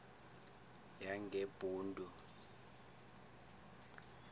yangebhundu